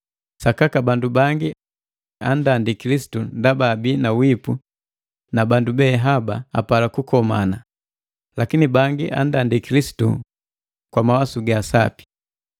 Sakaka bandu bangi andandi Kilisitu ndaba abii na wipu na bandu bee haba apala kukomana, lakini bangi andandi Kilisitu kwa mawasu ga sapi.